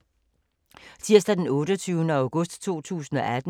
Tirsdag d. 28. august 2018